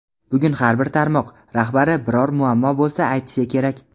Bugun har bir tarmoq rahbari biror muammo bo‘lsa aytishi kerak.